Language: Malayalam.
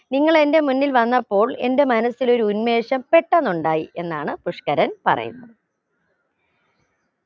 നിങ്ങൾ എന്റെ മുന്നിൽ വന്നപ്പോൾ എന്റെ മനസിലൊരു ഉന്മേഷം പെട്ടെന്നുണ്ടായി എന്നാണ് പുഷ്ക്കരൻ പറയുന്നത്